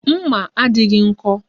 Mma a adịghị nkọ